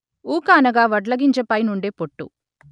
ఊక అనగా వడ్లగింజపైనుండే పొట్టు